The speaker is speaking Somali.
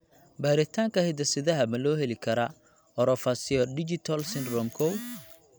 Baaritaanka hidde-sidaha ma loo heli karaa orofaciodigital syndrome koow (OFD1)?